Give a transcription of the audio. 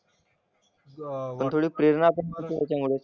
पण थोडी प्रेरणा पण मिळते त्याच्यामुळेच.